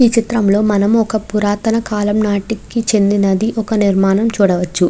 ఈ చిత్రం లో మనం ఒక పురాతన కాలం నాటికి చెందిన ఒక నిర్మాణం చూడవచ్చు.